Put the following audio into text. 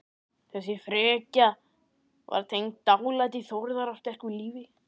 Þessi frekja var tengd dálæti Þórðar á sterku lífi.